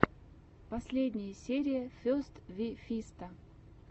последняя серия фест ви фиста